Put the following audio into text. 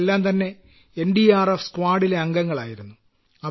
അവരെല്ലാംതന്നെ N D R F സ്ക്വാഡിലെ അംഗങ്ങളായിരുന്നു